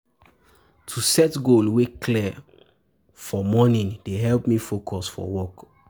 To set goal wey clear for morning dey help me focus for work.